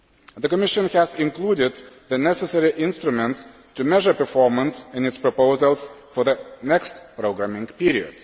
The Commission has included the necessary instruments to measure performance in its proposals for the next programming period.